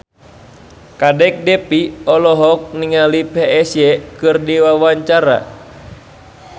Kadek Devi olohok ningali Psy keur diwawancara